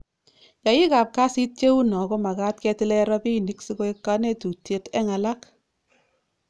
yaik ap kasit cheu noo komakat ketile ropinik sikoek kanetutiet eng alak